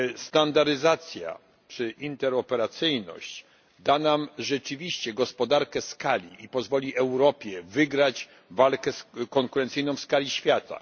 Standaryzacja czy interoperacyjność da nam rzeczywiście gospodarkę skali i pozwoli Europie wygrać walkę konkurencyjną w skali świata.